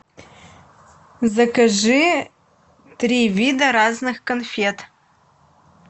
закажи три вида разных конфет